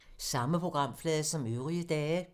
Samme programflade som øvrige dage